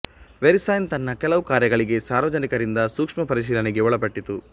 VeriSign ತನ್ನ ಕೆಲವು ಕಾರ್ಯಗಳಿಗೆ ಸಾರ್ವಜನಿಕರಿಂದ ಸೂಕ್ಷ್ಮ ಪರಿಶೀಲನೆಗೆ ಒಳಪಟ್ಟಿತು